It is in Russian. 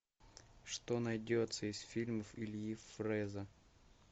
что найдется из фильмов ильи фреза